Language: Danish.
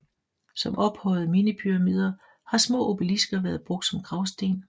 Som ophøjede minipyramider har små obelisker været brugt som gravsten